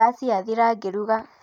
Ngasi yathira ngĩruga